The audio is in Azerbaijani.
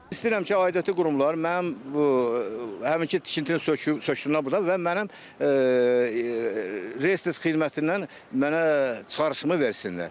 İstəyirəm ki, aidiyyatı qurumlar mənim bu həminki tikintini sökdülər burdan və mənim reyestr xidmətindən mənə çıxarışımı versinlər.